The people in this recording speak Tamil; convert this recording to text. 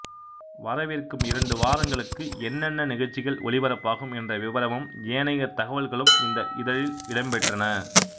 வரவிருக்கும் இரண்டு வாரங்களுக்கு என்னென்ன நிகழ்ச்சிகள் ஒலிபரப்பாகும் என்ற விபரமும் ஏனைய தகவல்களும் இந்த இதழில் இடம் பெற்றன